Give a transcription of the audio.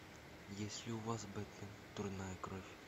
есть ли у вас бэтмен дурная кровь